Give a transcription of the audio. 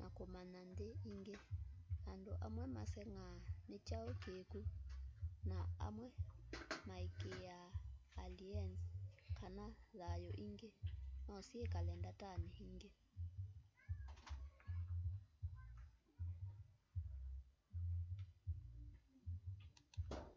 na kũmanya nthĩ ĩngĩ andũ amwe maseng'aa nĩkyaũ kĩkũ na amwe maĩkĩĩa alĩens kana thayũ ĩngĩ nosyĩkale ndatanĩ ĩngĩ